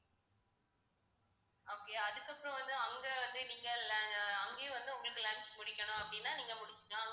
okay அதுக்கப்புறம் வந்து அங்க வந்து நீங்க la~ அஹ் அங்கயே வந்து உங்களுக்கு lunch முடிக்கணும் அப்படின்னா நீங்க முடிச்சுக்கலாம்.